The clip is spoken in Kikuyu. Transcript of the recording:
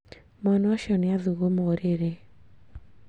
Mwana ũcio nì athuguma ũrĩrĩ